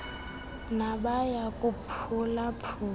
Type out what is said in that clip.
nabaya kuphula phula